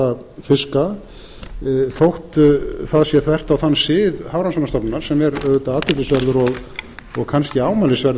aðra fiska þótt það sé þvert á þann sið hafrannsóknastofnunar sem er auðvitað athyglisverður og kannski ámælisverður